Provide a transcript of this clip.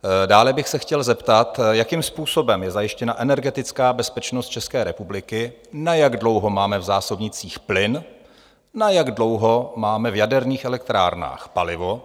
Dále bych se chtěl zeptat, jakým způsobem je zajištěna energetická bezpečnost České republiky, na jak dlouho máme v zásobnících plyn, na jak dlouho máme v jaderných elektrárnách palivo?